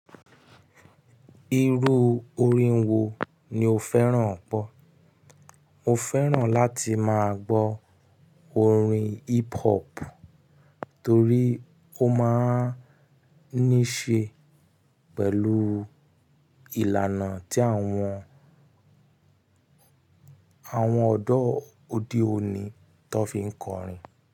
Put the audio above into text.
Irú orin wo ni o fẹ́ràn pọ̀? Mo fẹ́ràn láti máa gbọ́ orin hip hop torí ó máa ń ní ṣe pẹ̀lú ìlànà tí àwọn, àwọn ọ̀dọ́ òde òní tó fi ń kọrin.